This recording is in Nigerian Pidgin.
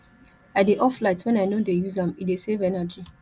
i dey off light wen i no dey use am e dey save energy